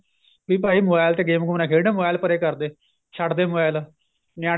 ਵੀ ਭਾਈ mobile ਤੇ game ਗੁਮ ਨਾ ਖੇਡ mobile ਪਰੇ ਕਰਦੇ ਛੱਡ ਦੇ mobile ਨਿਆਣੇ